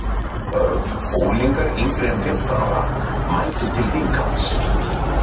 börn og unglingar yngri en fimmtán ára mæta til þinghalds